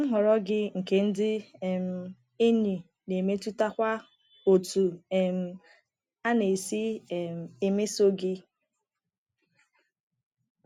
Nhọrọ gị nke ndị um enyi na-emetụtakwa otú um a na-esi um emeso gị.